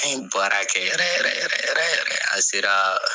An ye baara kɛ yɛrɛ yɛrɛ yɛrɛ yɛrɛ yɛrɛ an sera